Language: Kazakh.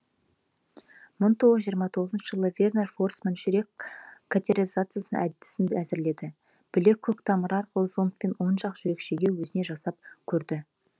мың тоғыз жүз жиырма тоғызыншы жылы вернер форсман жүрек катетеризациясын әдісін әзірледі білек көктамыры арқылы зондпен оң жақ жүрекшеге өзіне жасап көрді